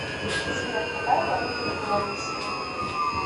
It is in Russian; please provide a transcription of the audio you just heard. сбер какая валюта в белоруссии